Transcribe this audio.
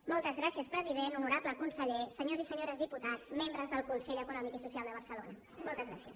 molts gràcies president honorable conseller senyors i senyores diputats membres del consell econòmic i social de barcelona moltes gràcies